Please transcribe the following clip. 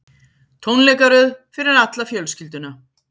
Tónleikaröð fyrir alla fjölskylduna